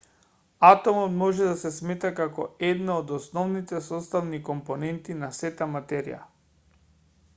атомот може да се смета како една од основните составни компоненти на сета материја